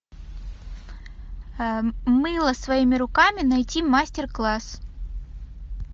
мыло своими руками найти мастер класс